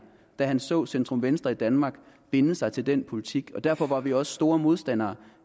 da han så centrum venstre partierne i danmark binde sig til den politik derfor var vi også store modstandere